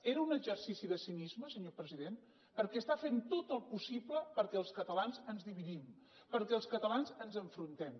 era un exercici de cinisme senyor president perquè està fent tot el possible perquè els catalans ens dividim perquè els catalans ens enfrontem